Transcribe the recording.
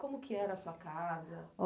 Como que era a sua casa?